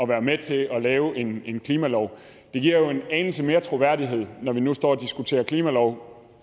være med til at lave en en klimalov det giver jo en anelse mere troværdighed når vi nu står og diskuterer klimalov